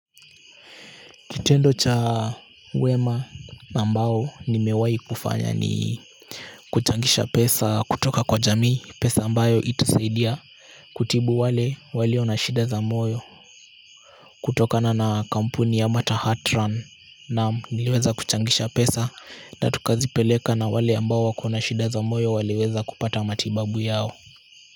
Kitendo cha wema, ambao nimewai kufanya ni kuchangisha pesa kutoka kwa jamii, pesa ambayo itasaidia, kutibu wale walio na shida za moyo kutokana na kampuni ya matter heart run naam nileweza kuchangisha pesa na tukazipeleka na wale ambao wako na shida za moyo waliweza kupata matibabu yao.